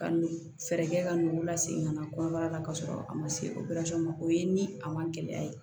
Ka nugu kɛ ka nugu lase ka na kɔnɔbara la ka sɔrɔ a ma se opereli ma o ye ni a man gɛlɛya ye